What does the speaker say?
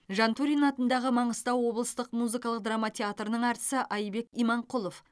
жантурин атындағы маңғыстау облыстық музыкалық драма театрының әртісі айбек иманқұлов